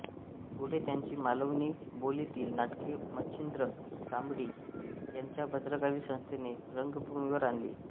पुढे त्यांची मालवणी बोलीतील नाटके मच्छिंद्र कांबळी यांच्या भद्रकाली संस्थेने रंगभूमीवर आणली